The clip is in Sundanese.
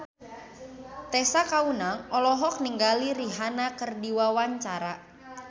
Tessa Kaunang olohok ningali Rihanna keur diwawancara